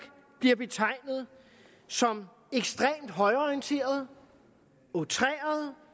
bliver betegnet som ekstremt højreorienteret outreret